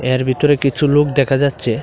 এর ভিতরে কিছু লোক দেখা যাচ্ছে।